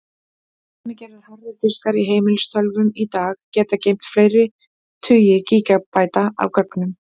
Dæmigerðir harðir diskar í heimilistölvum í dag geta geymt fleiri tugi gígabæta af gögnum.